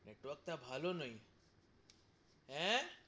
network টা ভালো নই হেঁ,